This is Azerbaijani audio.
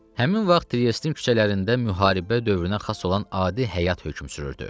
Həmin vaxt Triestin küçələrində müharibə dövrünə xas olan adi həyat hökm sürürdü.